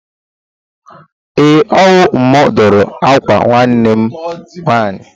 Ee, ọ wụ mụ dụrụ ákwà nwanne m nwaanyị.